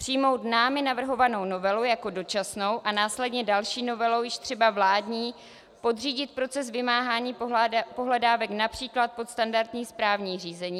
Přijmout námi navrhovanou novelu jako dočasnou a následně další novelou, již třeba vládní, podřídit proces vymáhání pohledávek například pod standardní správní řízení.